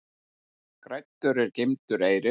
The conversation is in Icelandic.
Græddur er geymdur eyrir.